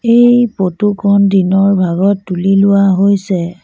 এই ফটো খন দিনৰ ভাগত তুলি লোৱা হৈছে।